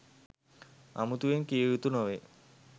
අමුතුවෙන් කිවයුතු නොවේ.